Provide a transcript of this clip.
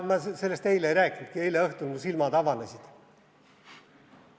Ma sellest eile ei rääkinudki, eile õhtul mu silmad avanesid.